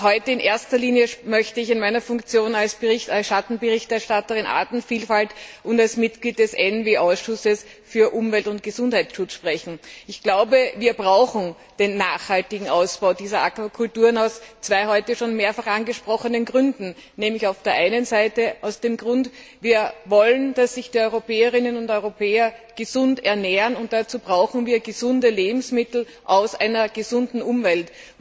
Aber heute möchte ich in erster Linie in meiner Funktion als Schattenberichterstatterin für Artenvielfalt und als Mitglied des Umweltausschusses für Umwelt und Gesundheitsschutz sprechen. Wir brauchen den nachhaltigen Ausbau dieser Aquakulturen aus zwei heute schon mehrfach angesprochenen Gründen nämlich auf der einen Seite, weil wir wollen, dass sich die Europäerinnen und Europäer gesund ernähren, und dazu brauchen wir gesunde Lebensmittel aus einer gesunden Umwelt.